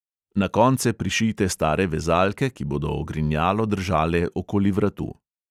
Na konce prišijte stare vezalke, ki bodo ogrinjalo držale okoli vratu.